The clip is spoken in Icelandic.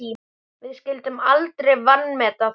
Við skyldum aldrei vanmeta það.